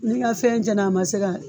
N'i ka fɛn cɛnna a ma se ka